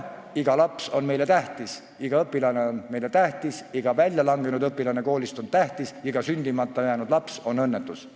Iga laps on meile tähtis, iga õpilane on meile tähtis, iga koolist välja langenud õpilane on tähtis, iga sündimata jäänud laps on õnnetus.